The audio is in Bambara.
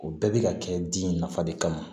O bɛɛ bɛ ka kɛ di nafa de kama